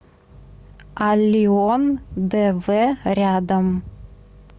аллион дв рядом